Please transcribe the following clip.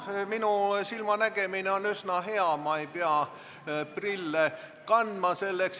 Minu silmanägemine on üsna hea, ma ei pea prille kandma.